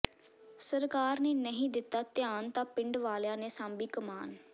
ਸਰਕਾਰ ਨੇ ਨਹੀਂ ਦਿੱਤਾ ਧਿਆਨ ਤਾਂ ਪਿੰਡ ਵਾਲਿਆਂ ਨੇ ਸਾਂਭੀ ਕਮਾਨ